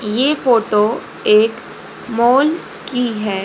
ये फोटो एक मॉल की है।